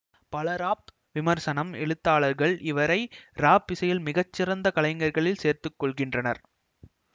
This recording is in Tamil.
பல ராப் விமர்சனம் எழுத்தாளர்கள் இவரை ராப் இசையில் மிகச்சிறந்த கலைஞர்களில் சேர்த்து கொள்கின்றனர்